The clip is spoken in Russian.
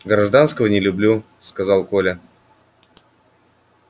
гражданского не люблю сказал коля